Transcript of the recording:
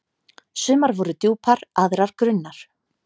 Sumar voru djúpar, aðrar grunnar.